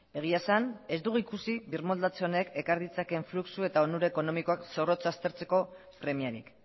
egia esan ez dugu ikusi birmoldatze honek ekar ditzakeen fluxu eta onura ekonomikoak zorrotz aztertzeko premiarik